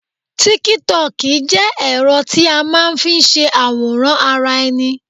TíkíTokì jẹ́ ẹ̀rọ tí a máa n fi se àwòrán ara ẹni